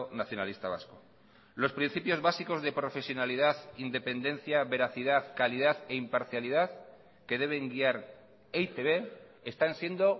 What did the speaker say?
nacionalista vasco los principios básicos de profesionalidad independencia veracidad calidad e imparcialidad que deben guiar e i te be están siendo